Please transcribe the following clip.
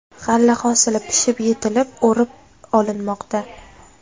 G‘alla hosili pishib yetilib, o‘rib olinmoqda.